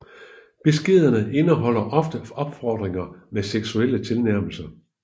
Beskederne indeholder ofte opfordringer med seksuelle tilnærmelser